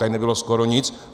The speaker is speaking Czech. Tady nebylo skoro nic.